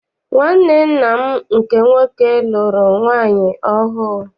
Nwanne nna m nke nwoke lụrụ nwaanyị ọhụụ.